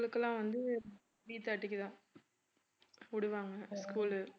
அவங்களுக்கெல்லாம் வந்து three thirty க்கு தான் விடுவாங்க school உ